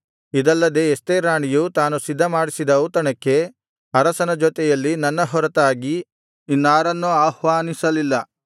ಇದಲ್ಲದೆ ಎಸ್ತೇರ್ ರಾಣಿಯು ತಾನು ಸಿದ್ಧಮಾಡಿಸಿದ ಔತಣಕ್ಕೆ ಅರಸನ ಜೊತೆಯಲ್ಲಿ ನನ್ನ ಹೊರತಾಗಿ ಇನ್ನಾರನ್ನೂ ಆಹ್ವಾನಿಸಲಿಲ್ಲ ನಾಳೆಯೂ ಅರಸನ ಜೊತೆಯಲ್ಲಿ ಬರಬೇಕೆಂದು ನನಗೆ ಹೇಳಿದ್ದಾಳೆ